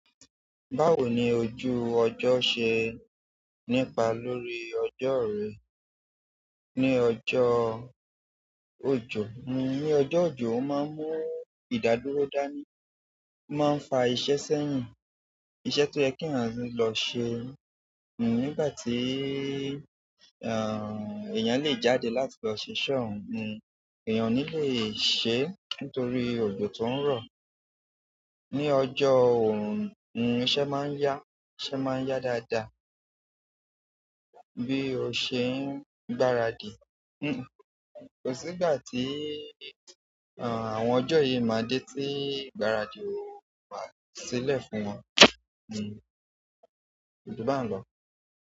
Báwo ni ojú ọjọ́ ṣe nípa lórí ọjọ́ rẹ? Ní ọjọ́-òjò, ní ọjọ́ òjò, ó máa ń mú ìdádúró dání, ó máa ń fa iṣẹ́ sẹ́yìn, iṣẹ́ tó yẹ kí èèyàn lọ ṣe, nígbà tí, ehn, èèyàn le jáde láti lọ ṣiṣẹ́ oun, èèyàn o ní le ṣe nítorí òjò tó ń rọ̀. Ní ọjọ́ òòrùn, iṣẹ́ máa ń yá, iṣẹ́ máa ń yá dáadáa bí o ṣe ń gbaradì. Kò sí ìgbà tí, ehn, àwọn ọjọ́ yìí máa dé tí ìgbáradì ò wá sílẹ̀ fún wọn. Òjò bá ń lọ.